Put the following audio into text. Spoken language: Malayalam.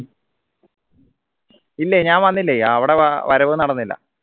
ഇല്ലേ ഞാൻ വന്നില്ലേ അവിടെ വാ വരവ് നടന്നില്ല